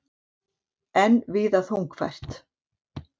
Enn víða þungfært